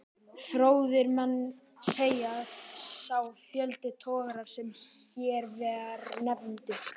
Fróðir menn segja, að sá fjöldi togara, sem hér var nefndur